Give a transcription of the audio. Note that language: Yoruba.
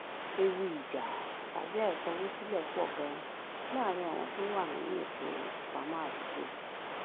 ewu ìjà tàbí àìsanwósílè pò ganan láàárín àwọn tó wà nínú ètò ìpamó àdúgbò